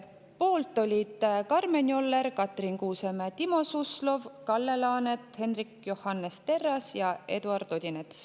Poolt olid Karmen Joller, Katrin Kuusemäe, Timo Suslov, Kalle Laanet, Hendrik Johannes Terras ja Eduard Odinets.